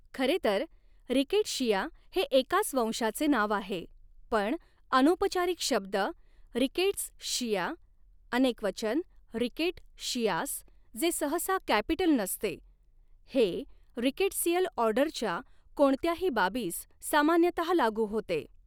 खरे तर, रिकेट्शिया हे एकाच वंशाचे नाव आहे, पण अनौपचारिक शब्द 'रिकेट्सशिया', अनेकवचन 'रिकेट्शिआस्', जे सहसा कॅपिटल नसते, हे रिकेट्सियल ऑर्डरच्या कोणत्याही बाबीस सामान्यतः लागू होते.